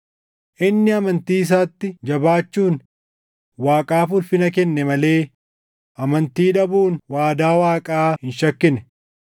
Inni amantii isaatti jabaachuun Waaqaaf ulfina kenne malee amantii dhabuun waadaa Waaqaa hin shakkine;